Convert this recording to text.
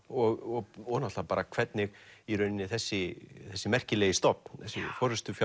og og náttúrulega hvernig þessi þessi merkilegi stofn þessi